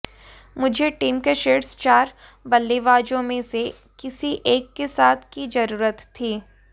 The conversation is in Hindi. मुझे टीम के शीर्ष चार बल्लेबाजों में से किसी एक के साथ की जरुरत थी